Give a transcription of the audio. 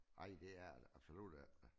Ej det er det absolut ikke